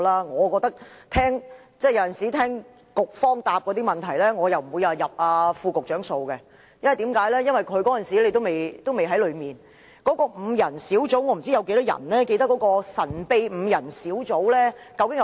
我聽到局方的答覆——我不會算在副局長頭上，因為他當時也未曾上任——我不知道有多少人會記得那個神秘5人核心小組的成員是誰。